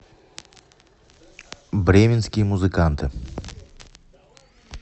бременские музыканты